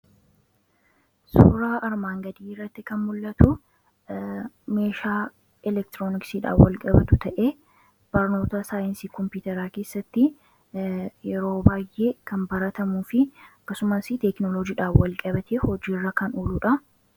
Suuraa armaan gadii irratti kan mul'atu meeshaa elektironisiidhaan wal qabatu ta'ee barnoota saayinsii kompuuteraa keessatti yeroo baay'ee kan baratamuu fi akkasumas teeknolojiidhaan walqabate hojii irra kan ooludha.